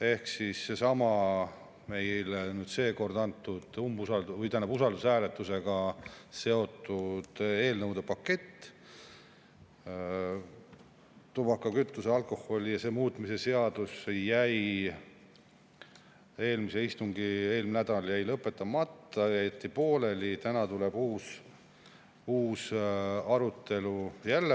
Ehk siis seesama meil seekord usaldushääletusega seotud eelnõude pakett, tubaka-, kütuse-, alkoholi- ja aktsiisi muutmise seadus jäi eelmisel nädalal lõpetamata, see jäeti pooleli, täna tuleb jälle uus arutelu.